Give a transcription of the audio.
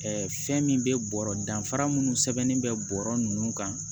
fɛn min bɛ bɔrɔ danfara minnu sɛbɛnnen bɛ bɔrɔ nunnu kan